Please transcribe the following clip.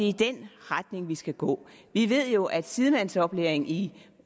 i den retning vi skal gå vi ved jo at sidemandsoplæringen i